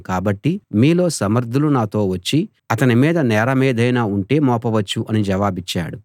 కాబట్టి మీలో సమర్థులు నాతో వచ్చి అతని మీద నేరమేదైనా ఉంటే మోపవచ్చు అని జవాబిచ్చాడు